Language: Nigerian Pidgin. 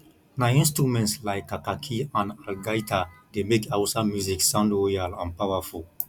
na instruments like kakaki and algaita dey make hausa music sound royal and powerful